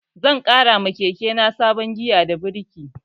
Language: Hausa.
Zan ƙara ma keke na sabon giya da birki